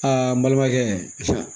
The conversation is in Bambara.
Aa n balimakɛ